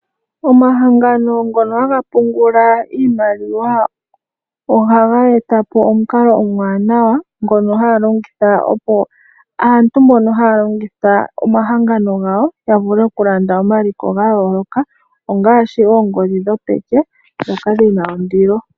Omahangano ngono haga pungula iimaliwa ohaga eta po omukalo omuwanawa ngono haya longitha, opo aantu mboka haya longitha omahangano gawo ya vule okulanda omaliko ga yooloka ngaashi oongodhi dhopeke ndhoka dhi na ondilo.